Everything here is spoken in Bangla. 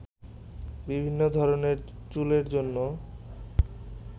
বিভিন্ন ধরনের চুলের জন্য